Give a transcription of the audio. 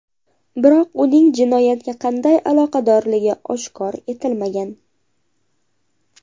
Biroq uning jinoyatga qanday aloqadorligi oshkor etilmagan.